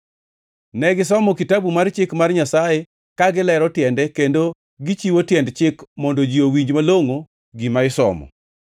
Ne gisomo Kitabu mar Chik mar Nyasaye, ka gilero tiende kendo gichiwo tiend chik mondo ji owinj malongʼo gima isomo.